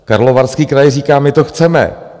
Karlovarský kraj říká: My to chceme.